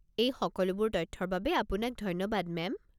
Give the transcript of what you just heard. এই সকলোবোৰ তথ্যৰ বাবে আপোনাক ধন্যবাদ মেম।